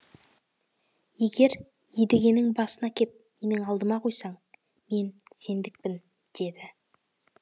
егер едігенің басын әкеп менің алдыма қойсаң мен сендікпін деді